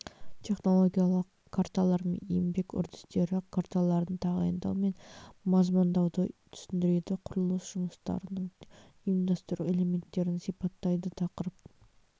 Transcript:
технологиялық карталар мен еңбек үрдістері карталарын тағайындау мен мазмұндауды түсіндіреді құрылыс жұмыстарының ұйымдастыру элементтерін сипаттайды тақырып